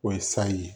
O ye sayi